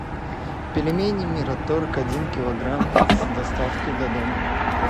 пельмени мираторг один килограмм с доставкой до дома